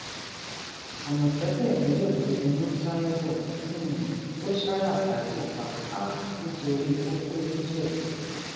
àmọtẹkùn ìpínlẹ ogun ti mú taiwo um tó sá rasaki pa um nítorí kókó ńìjẹbù